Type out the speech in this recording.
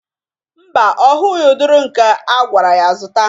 Mba, ọ hụghị ụdịrị nke agwara ya zụta.